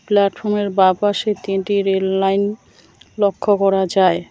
প্ল্যাটফর্মের বা পাশে তিনটি রেললাইন লক্ষ্য করা যায়।